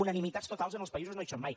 unanimitats totals en els països no hi són mai